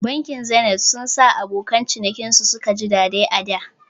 Bankin Zenith sun sa abokan cinikin su suka ji daɗai ada